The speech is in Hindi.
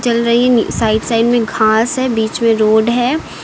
चल रही नी साइड साइड में घास है बीच में रोड है।